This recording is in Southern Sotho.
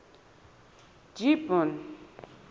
gibbon